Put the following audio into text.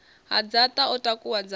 ha dzaṱa o takuwa dzaṱa